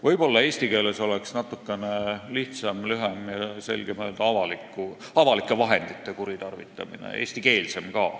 Võib-olla eesti keeles oleks natukene lihtsam, lühem ja selgem öelda "avalike vahendite kuritarvitamine".